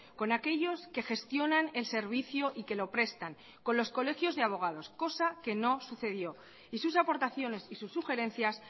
con aquellos que gestionan el servicio y que lo prestan con los colegios de abogados cosa que no sucedió y sus aportaciones y sus sugerencias